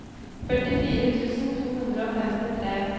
førtifire tusen to hundre og femtitre